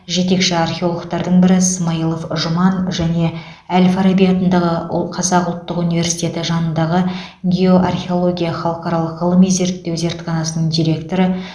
жетекші археологтардың бірі смайлов жұман және әл фараби атындағы қазақ ұлттық университеті жанындағы геоархеология халықаралық ғылыми зерттеу зертханасының директоры